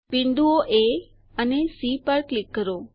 બિંદુઓ એ અને સી પર ક્લિક કરો